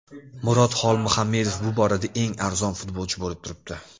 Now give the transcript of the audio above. Murod Xolmuhamedov bu borada eng arzon futbolchi bo‘lib turibdi.